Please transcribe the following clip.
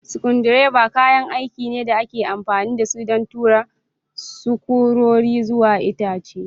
Screwdrivers kayan aiki ne da ake amfani da su don tura sukurori zuwa itace.